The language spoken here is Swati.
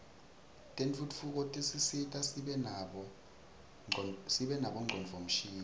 tentfutfuko tisisita sibe nabo ngcondvomshini